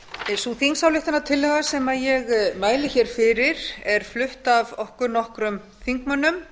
sú þingsályktunartillaga sem ég mæli hér fyrir er flutt af okkur nokkrum þingmönnum